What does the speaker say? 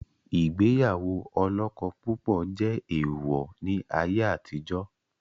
Ìgbéyàwó olọ́kọ púpọ̀ jẹ́ èèwọ̀ ni ayé àtijọ́